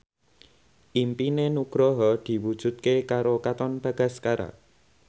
impine Nugroho diwujudke karo Katon Bagaskara